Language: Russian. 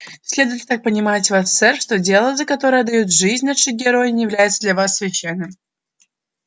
следует ли так понимать вас сэр что дело за которое отдают жизнь наши герои не является для вас священным